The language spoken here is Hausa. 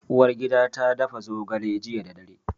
Uwargida ta dafa zogale jiya da dare.